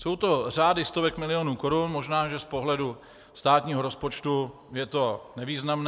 Jsou to řády stovek milionů korun, možná že z pohledu státního rozpočtu je to nevýznamné.